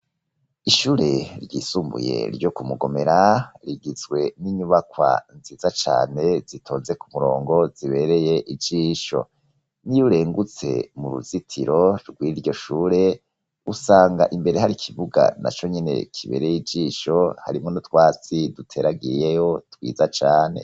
Ishure ryisumbuye, ryo ku Mugomera, rigizwe n'inyubakwa nziza cane, zitonze ku murongo, zibereye ijisho; n'iyo urengutse mu ruzitiro rw'iryo shure, usanga imbere hari ikibuga, na conyene kibereye ijisho, harimwo n' utwatsi duteragiyeyo, twiza cane.